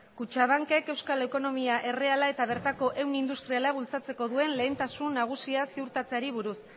kutxabankek euskal ekonomia erreala eta bertako ehun industriala bultzatzeko duen lehentasun nagusia ziurtatzeari buruz